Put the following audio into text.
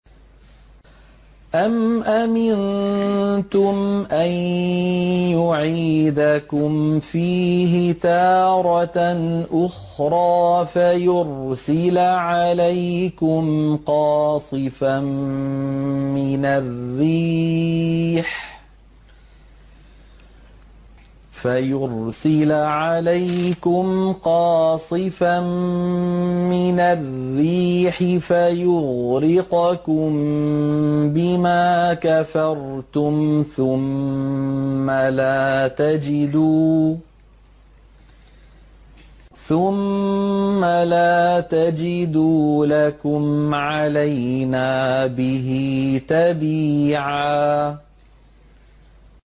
أَمْ أَمِنتُمْ أَن يُعِيدَكُمْ فِيهِ تَارَةً أُخْرَىٰ فَيُرْسِلَ عَلَيْكُمْ قَاصِفًا مِّنَ الرِّيحِ فَيُغْرِقَكُم بِمَا كَفَرْتُمْ ۙ ثُمَّ لَا تَجِدُوا لَكُمْ عَلَيْنَا بِهِ تَبِيعًا